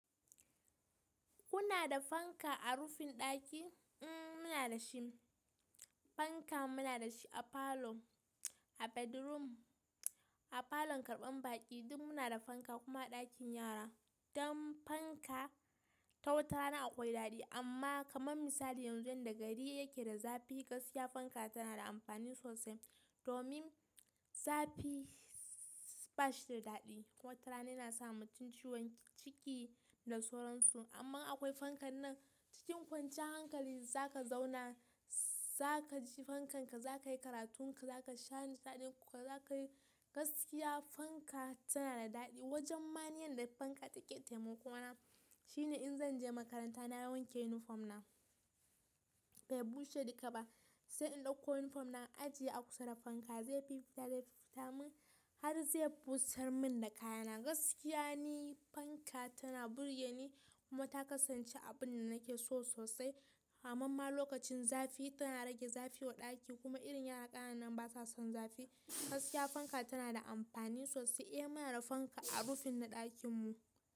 Kuna da fanka a rufin ɗaki? Eh muna da shi. Fanka muna da shi a falo, a bedroom, a falon karɓan baƙi duk muna da fanka kuma a ɗakin yara. Don fanka, ta wata rana akwai daɗi amma kamar misali yanzu inda gari yake da zafi gaskiya fanka tana da amfani sosai. Domin zafi ba shi da daɗi. Wata rana yana sa mutum ciwon ciki da sauransu amma akwai fanka nan cikin kwanciyar hankali za ka zauna, za ka ji fankan ka, za ka yi karatun ka, za ka sha niƙaɗin ka, za ka yi gaskiya fanka tana da daɗi. Wajen maniyan da fanka take taimako na shine in zan je makaranta na wanke yunifom na bai bushe duka ba. Sai in ɗauko yunifom na ajiye a kusa da fanka zai yi fita dai fita min har zai busar min da kayana. Gaskiya ni fanka tana burge ni kuma ta kasance abun da nake so sosai. Hamamma lokacin zafi tana rage zafi wa ɗaki kuma irin yara ƙananan ba sa son zafi. Gaskiya fanka tana da amfani sosai. Eh muna da fanka a rufin na ɗakin mu.